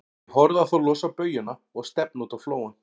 Ég horfði á þá losa baujuna og stefna út á flóann.